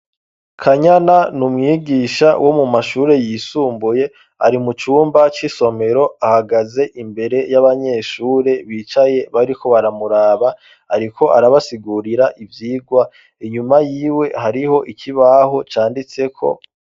kanyana n'umwigisha womu mashuri yisumbuye arimu cumba c'isomero ahagaze imbere y'abanyeshuri bicaye bariko baramuraba ariko arabasigurira ivyigwa inyuma yiwe hariho ikibaho canditseko